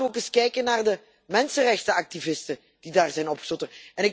Laten we ook eens kijken naar de mensenrechtenactivisten die daar zijn opgesloten.